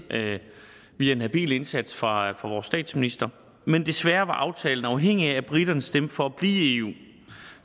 via en habil indsats fra vores statsminister men desværre var aftalen afhængig af at briterne stemte for at blive i eu